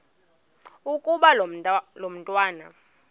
ukuba lo mntwana